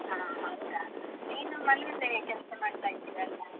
ಹಾ ಹೌದಾ, ನೀನು ಮನೇಲೆ ಕೆಲ್ಸ ಮಾಡ್ತಾಯಿದ್ದೀಯ ಅಲ್ವಾ?